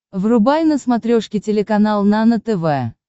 врубай на смотрешке телеканал нано тв